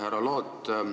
Härra Loot!